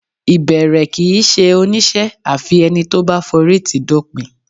Ìbẹ̀rẹ̀ kì í ṣe oníṣẹ́ àfi ẹni tó bá forítìí dópin